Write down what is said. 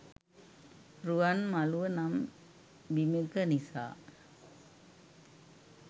රුවන්මළුව නම් බිමෙක නිසා